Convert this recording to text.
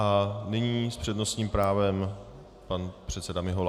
A nyní s přednostním právem pan předseda Mihola.